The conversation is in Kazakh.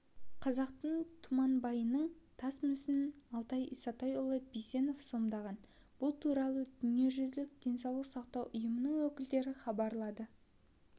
қазақтың тұманбайының тас мүсінін алтай исатайұлы бейсенов сомдаған бұл туралы дүниежүзілік денсаулық сақтау ұйымының өкілдері хабарлады